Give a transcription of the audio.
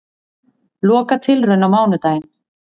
Lokatilraun á mánudaginn